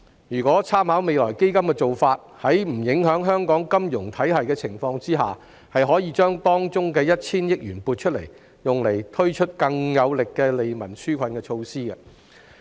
如果參考未來基金的做法，在不影響香港金融體系的情況下，有關收益當中的 1,000 億元可以撥出，用以推出更有力的利民紓困措施。